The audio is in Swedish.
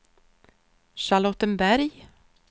Charlottenberg